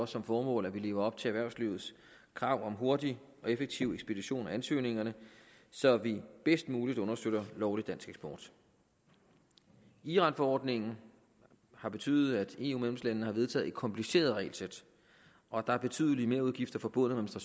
som formål at vi lever op til erhvervslivets krav om hurtig og effektiv ekspedition af ansøgningerne så vi bedst muligt understøtter lovlig dansk eksport iranforordningen har betydet at eu medlemslandene har vedtaget et kompliceret regelsæt og der er betydelige merudgifter forbundet